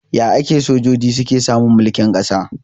Ya ake sojoji suke samun mulkin kasa?